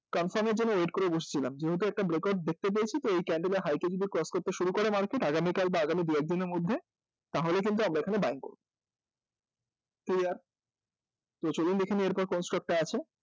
confirm এর জন্য wait করে বসেছিলাম যেহেতু একটা breakout দেখতে পেয়েছি তাই এই candle এর high টা কে যদি cross করতে শুরু করে market আগামী কাল বা আগামী দু একদিনের মধ্যে তাহলে কিন্তু আমরা এখানে buying করব clear? তো চলুন দেখে নিই এরপর কোন stock টা আছে